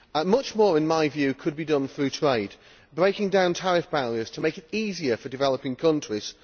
Much more, in my view, could be done through trade, by breaking down tariff barriers to make it easier for developing countries.